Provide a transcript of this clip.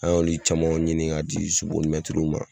An y'olu camanw ɲini ka di sobolimɛtiriw ma